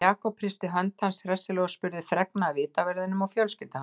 Jakob hristi hönd hans hressilega og spurði fregna af vitaverðinum og fjölskyldu hans.